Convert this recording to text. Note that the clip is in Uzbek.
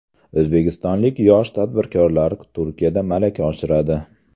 O‘zbekistonlik yosh tadbirkorlar Turkiyada malaka oshiradi.